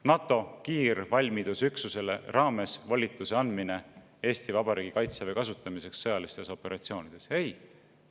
NATO kiirvalmidusüksuse raames volituse andmine Eesti Vabariigi kaitseväe kasutamiseks sõjalistes operatsioonides – ei!